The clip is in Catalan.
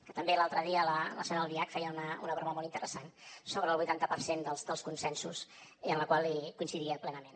que també l’altre dia la senyora albiach feia una broma molt interessant sobre el vuitanta per cent dels consensos i en la qual coincidia plenament